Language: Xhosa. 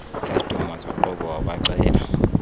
ikhastoma zoqobo wabacela